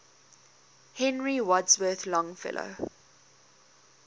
henry wadsworth longfellow